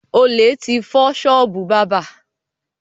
Olè ti fọ ṣọ́ọ́bù bábà.